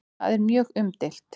Það er mjög umdeilt.